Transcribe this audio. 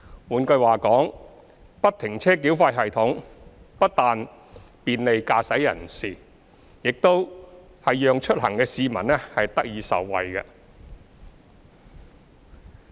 換句話說，不停車繳費系統不但便利駕駛人士，亦讓出行的市民得以受惠。